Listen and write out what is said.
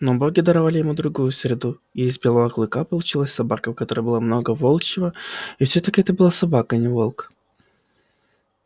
но боги даровали ему другую среду и из белого клыка получилась собака в которой было много волчьего и все таки это была собака а не волк